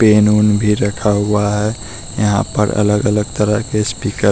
-- main भी रखा हुआ है यहां पर अलग-अलग तरह के स्पीकर--